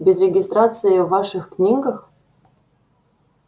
без регистрации в ваших книгах